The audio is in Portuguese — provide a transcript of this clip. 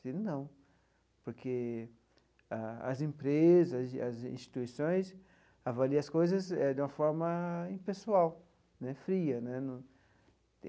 Disse não, porque as empresas, as as instituições avaliam as coisas eh de uma forma impessoal né, fria né no.